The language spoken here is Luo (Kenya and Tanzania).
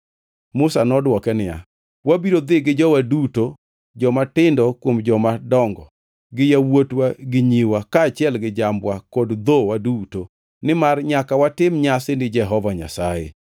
Musa nodwoke niya, “Wabiro dhi gi jowa duto jomatindo kuom jomadongo gi yawuotwa gi nyiwa kaachiel gi jambwa kod dhowa duto, nimar nyaka watim nyasi ni Jehova Nyasaye.”